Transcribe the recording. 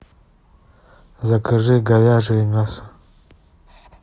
закажи говяжье мясо